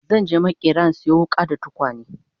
zanje maƙera in Sayo wuƙa da tukwane